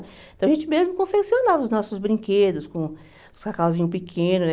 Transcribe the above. Então, a gente mesmo confeccionava os nossos brinquedos com os cacauzinhos pequenos, né?